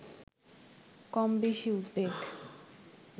কমবেশি উদ্বেগ